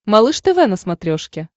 малыш тв на смотрешке